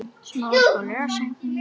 Hvað kölluðu þeir mig?